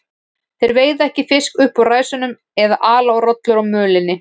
Þeir veiða ekki fisk upp úr ræsunum eða ala rollur á mölinni.